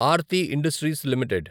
Aarti Industries limited